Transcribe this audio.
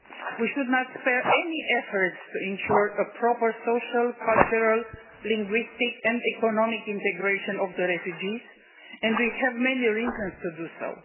We should not spare any efforts to ensure a proper social, cultural, linguistic and economic integration of refugees, and we have many reasons to do so.